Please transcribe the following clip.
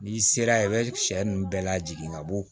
N'i sera ye i bɛ sɛ ninnu bɛɛ lajigin ka bɔ